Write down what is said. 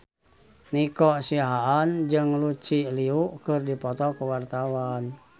Nico Siahaan jeung Lucy Liu keur dipoto ku wartawan